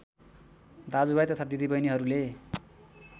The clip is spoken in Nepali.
दाजुभाइ तथा दिदीबहिनीहरूले